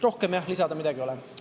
Rohkem midagi lisada ei ole.